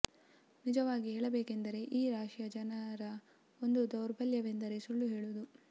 ನಿಜವಾಗಿ ಹೇಳಬೇಕೆಂದರೆ ಈ ರಾಶಿಯ ಜನರ ಒಂದು ದೌರ್ಬಲ್ಯವೆಂದರೆ ಸುಳ್ಳು ಹೇಳುವುದು